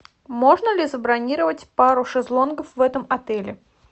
можно ли забронировать пару шезлонгов в этом отеле